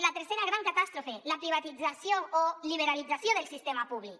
la tercera gran catàstrofe la privatització o liberalització del sistema públic